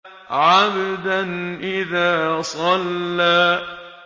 عَبْدًا إِذَا صَلَّىٰ